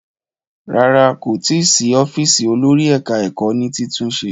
Rárá, kò tí ì sí ọ́fíísì olórí ẹ̀ka-ẹkọ́ ní títúnṣe.